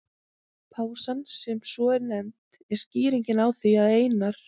Pásan, sem svo er nefnd, er skýringin á því að Einar